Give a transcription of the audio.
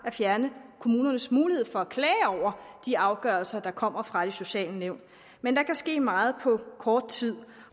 fjerne kommunernes mulighed for at klage over de afgørelser der kommer fra de sociale nævn men der kan ske meget på kort tid